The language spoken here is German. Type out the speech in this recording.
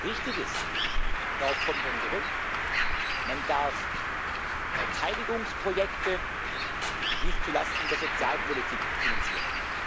Richtig ist darauf kommen wir zurück Man darf Verteidigungsprojekte nicht zu Lasten der Sozialpolitik finanzieren.